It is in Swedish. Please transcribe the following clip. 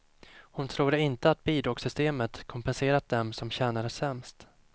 Hon tror inte att bidragssystemet kompenserat dem som tjänar sämst.